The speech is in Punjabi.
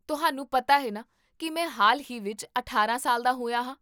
ਤੁਹਾਨੂੰ ਪਤਾ ਹੈ ਨਾ ਕੀ ਮੈਂ ਹਾਲ ਹੀ ਵਿੱਚ ਅਠਾਰਾਂ ਸਾਲ ਦਾ ਹੋਇਆ ਹਾਂ?